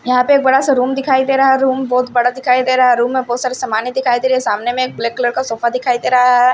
यहां पे एक बड़ा सा रूम दिखाई दे रहा है रूम बहुत बड़ा दिखाई दे रहा है रूम में बहुत सारे सामान दिखाई दे रहे हैं सामने में एक ब्लैक कलर का सोफा दिखाई दे रहा है।